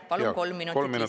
Palun kolm minutit lisaaega.